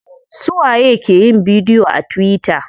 Suwa ye ke yin bidiyo a tuwita?